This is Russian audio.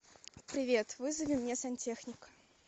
привет вызови мне сантехника